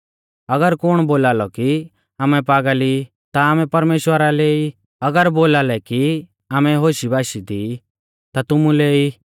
अगर कुण बोलालौ कि आमै पागल ई ता आमै परमेश्‍वरा लै ई और अगर बोलालै कि आमै होशबाशी दी ता तुमुलै ई